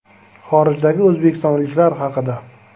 Xorijdagi o‘zbekistonliklar haqida.